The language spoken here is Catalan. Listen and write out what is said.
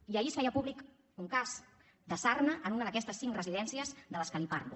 i ahir es feia públic un cas de sarna en una d’aquestes cinc residències de les que li parlo